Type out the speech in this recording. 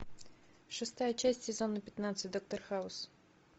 шестая часть сезона пятнадцать доктор хаус